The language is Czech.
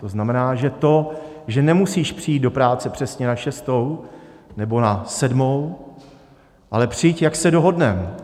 To znamená, že to, že nemusíš přijít do práce přesně na šestou nebo na sedmou, ale přijď, jak se dohodneme.